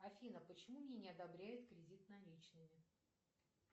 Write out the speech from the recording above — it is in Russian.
афина почему мне не одобряют кредит наличными